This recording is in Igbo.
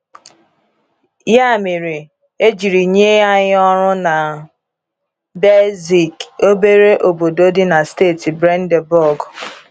Ya mere, e jiri nye anyị ọrụ na Belzig, obere obodo dị na steeti Brandenburg.